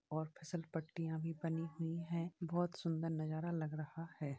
और फिसल पट्टियां भी बनी हुई हैं बहुत सुंदर नजारा लग रहा है।